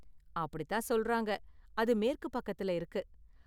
அப்படித்தான் சொல்றாங்க, அது மேற்கு பக்கத்துல இருக்கு.